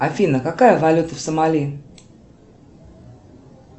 афина какая валюта в сомали